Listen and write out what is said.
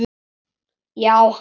Já, hann slapp.